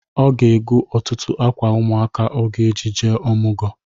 Ọ ga-ego ọtụtụ akwa ụmụaka ọ ga-eji jee ọmụgọ.